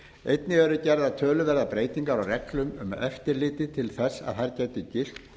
einnig eru gerðar töluverðar breytingar á reglum um eftirlit til þess að þar geti gilt